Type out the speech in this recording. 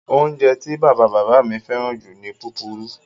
Oúnjẹ tí bàbá-bàbá mi fẹ́ràn jù ni púpurú.